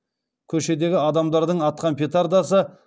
көшедегі адамдардың атқан петардасы